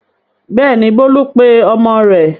Bẹ́ẹ̀ni, Bólú pe ọmọ rẹ̀.